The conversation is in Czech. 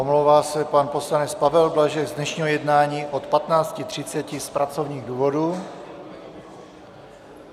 Omlouvá se pan poslanec Pavel Blažek z dnešního jednání od 15.30 z pracovních důvodů.